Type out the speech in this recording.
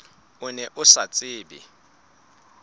o ne o sa tsebe